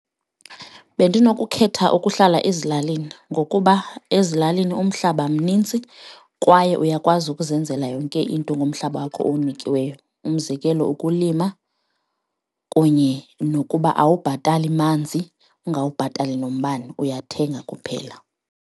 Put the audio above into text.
Bendinokukhetha ukuhlala ezilalini ngokuba ezilalini umhlaba mninzi kwaye uyakwazi ukuzenzela yonke into ngomhlaba wakho owunikiweyo. Umzekelo ukulima kunye nokuba awubhatali manzi ungawubhatali nombane, uyathenga kuphela.